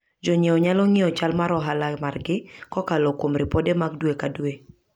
Jonyiewo nyalo ng'iyo chal mar ohala margi kokalo kuom ripode mag dwe ka dwe.